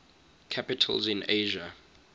capitals in asia